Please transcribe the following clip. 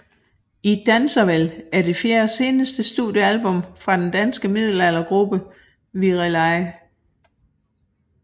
I danser vel er det fjerde og seneste studiealbum fra den danske middelaldergruppe Virelai